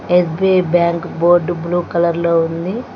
SBI bank board blue colour లో ఉంది.